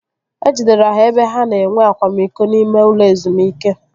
E jidere ha ebe ha na-enwe akwamiko n'ime ụlọ ezumike